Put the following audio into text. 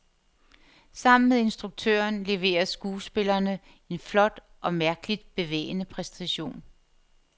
Sammen med instruktøren leverer skuespillerne en flot og mærkeligt bevægende præstation.